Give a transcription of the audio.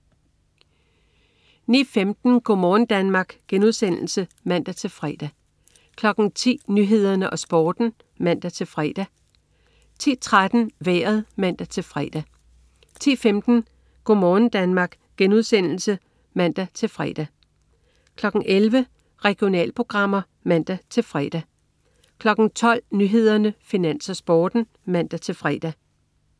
09.15 Go' morgen Danmark* (man-fre) 10.00 Nyhederne og Sporten (man-fre) 10.13 Vejret (man-fre) 10.15 Go' morgen Danmark* (man-fre) 11.00 Regionalprogrammer (man-fre) 12.00 Nyhederne, Finans, Sporten (man-fre)